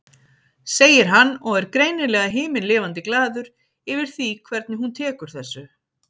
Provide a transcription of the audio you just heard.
segir hann og er greinilega himinlifandi glaður yfir því hvernig hún tekur þessu.